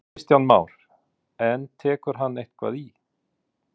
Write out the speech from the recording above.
Kristján Már: En tekur hann eitthvað í?